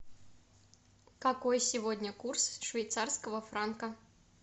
какой сегодня курс швейцарского франка